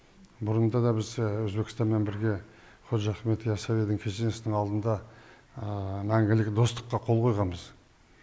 бұрында да біз өзбекстанмен бірге қожа ахмет яссауидың кесенесінің алдында мәңгілік достыққа қол қойғанбыз